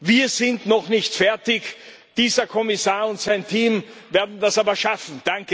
Wir sind noch nicht fertig, dieser Kommissar und sein Team werden das aber schaffen.